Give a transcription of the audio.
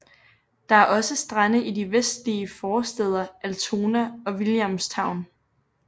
Der er også strande i de vestlige forstæder Altona og Williamstown